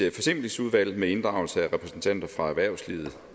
et forsimplingsudvalg med inddragelse af repræsentanter fra erhvervslivet